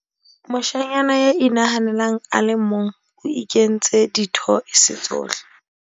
moshanyana ya inahanelang a le mong o inketse dithoese tsohle